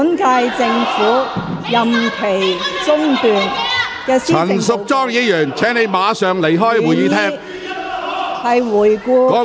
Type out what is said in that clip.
陳淑莊議員，請你立即離開會議廳。